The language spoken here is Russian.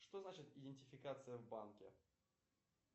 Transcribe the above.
что значит идентификация в банке